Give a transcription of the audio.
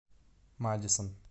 мадисон